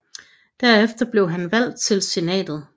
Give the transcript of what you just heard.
Derefter blev han valgt til Senatet